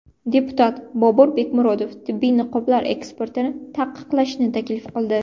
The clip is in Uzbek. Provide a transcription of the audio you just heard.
Deputat Bobur Bekmurodov tibbiy niqoblar eksportini taqiqlashni taklif qildi.